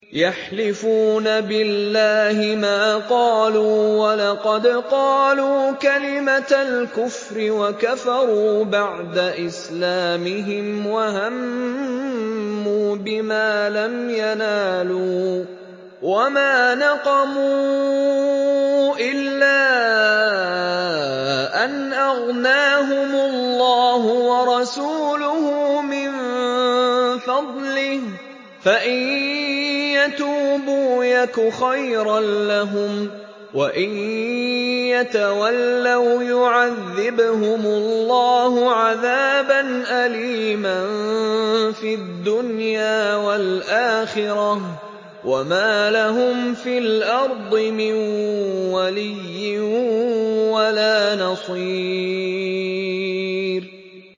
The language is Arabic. يَحْلِفُونَ بِاللَّهِ مَا قَالُوا وَلَقَدْ قَالُوا كَلِمَةَ الْكُفْرِ وَكَفَرُوا بَعْدَ إِسْلَامِهِمْ وَهَمُّوا بِمَا لَمْ يَنَالُوا ۚ وَمَا نَقَمُوا إِلَّا أَنْ أَغْنَاهُمُ اللَّهُ وَرَسُولُهُ مِن فَضْلِهِ ۚ فَإِن يَتُوبُوا يَكُ خَيْرًا لَّهُمْ ۖ وَإِن يَتَوَلَّوْا يُعَذِّبْهُمُ اللَّهُ عَذَابًا أَلِيمًا فِي الدُّنْيَا وَالْآخِرَةِ ۚ وَمَا لَهُمْ فِي الْأَرْضِ مِن وَلِيٍّ وَلَا نَصِيرٍ